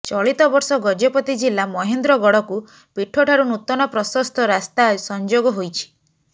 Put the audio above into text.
ଚଳିତ ବର୍ଷ ଗଜପତି ଜିଲ୍ଲା ମହେନ୍ଦ୍ର ଗଡକୁ ପୀଠ ଠାରୁ ନୂତନପ୍ରଶସ୍ତ ରାସ୍ତା ସଂଯୋଗ ହୋଇଛି